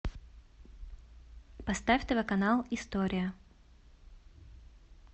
поставь тв канал история